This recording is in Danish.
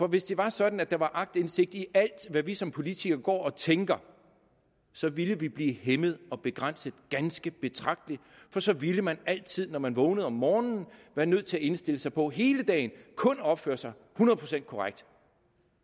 hvis det var sådan at der var agtindsigt i alt hvad vi som politikere går og tænker så ville vi blive hæmmet og begrænset ganske betragteligt for så ville man altid når man vågnede om morgenen være nødt til at indstille sig på hele dagen kun at opføre sig hundrede procent korrekt